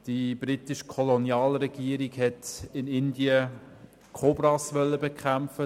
Die britische Kolonialregierung wollte in Indien die Kobras bekämpfen.